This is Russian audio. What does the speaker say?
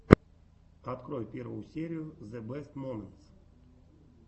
открой первую серию зэ бэст моментс